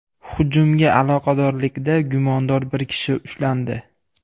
Hujumga aloqadorlikda gumondor bir kishi ushlandi.